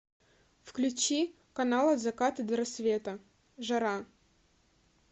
включи канал от заката до рассвета жара